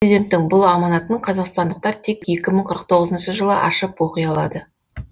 президенттің бұл аманатын қазақстандықтар тек екі мың қырық тоғызыншы жылы ашып оқи алады